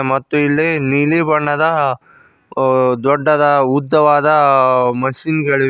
ಮತ್ತು ಇಲ್ಲಿ ನೀಲಿ ಬಣ್ಣದ ದೊಡ್ಡದ ಅ ಉದ್ದವಾದ ಮಸೀನ್ ಗಳಿವೆ.